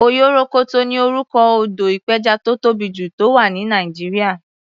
Oyorokoto ni orúkọ odò ìpẹjà tó tóbì jù, tó wà ní Nàìjíríà.